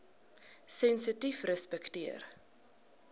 sensitiefrespekteer